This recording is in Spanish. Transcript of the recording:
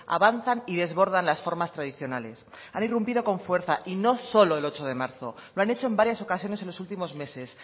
avanzan y desbordan las formas tradicionales han irrumpido con fuerza y no solo el ocho de marzo lo han hecho en varias ocasiones en los últimos meses